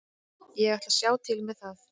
Ég ætla að sjá til með það.